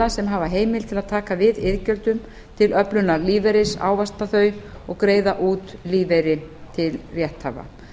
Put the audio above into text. sem heimild hafa til að taka við iðgjöldum til öflunar lífeyris ávaxta þau og greiða út lífeyri til rétthafa